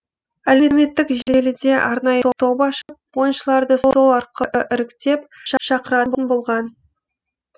әлеуметтік желіде арнайы топ ашып ойыншыларды сол арқылы іріктеп шақыратын болған